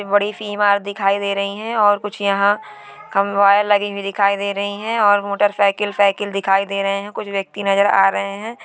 बड़ी सी दिखाई दे रही है और कुछ यहाँ कम वायर लगी हुए दिखाई दे रही है और मोटरसाइकिल साइकिल दिखाई दे रहे है| कुछ व्यक्ति नजर आ रहे है।